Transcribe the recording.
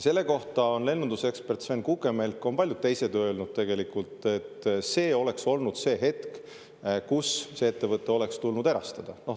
Selle kohta on lennundusekspert Sven Kukemelk ja paljud teised öelnud, et see oleks olnud see hetk, kus ettevõte oleks tulnud erastada.